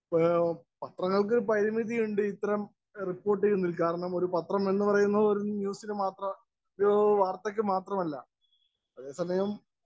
Speaker 1 പത്രങ്ങള്‍ക്ക് പരിമിതിയുണ്ട് റിപ്പോര്‍ട്ടില്‍ നില്ക്കാന്‍. കാരണം ഒരു പത്രം എന്ന് പറയുന്നത് ഒരു ന്യൂസിന് മാത്രമല്ല, ഒരു വാര്‍ത്തക്ക് മാത്രമല്ല. അതേ സമയം